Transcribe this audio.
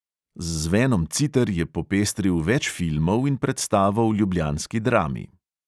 Z zvenom citer je popestril več filmov in predstavo v ljubljanski drami.